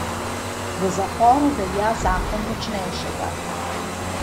V zaporu velja zakon močnejšega.